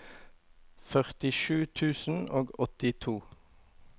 førtisju tusen og åttito